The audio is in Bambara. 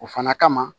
O fana kama